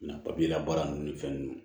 Na papiye la baara ninnu ni fɛn ninnu